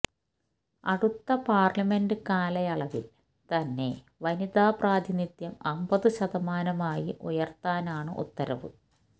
അടുത്ത പാര്ലമെന്റ് കാലയളവില് തന്നെ വനിതാ പ്രാതിനിധ്യം അമ്പതു ശതമാനമായി ഉയര്ത്താനാണ് ഉത്തരവ്